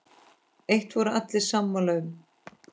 Eitt voru allir sammála um.